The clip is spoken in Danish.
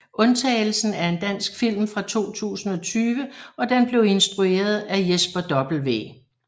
Undtagelsen er en dansk film fra 2020 og den blev instrueret af Jesper W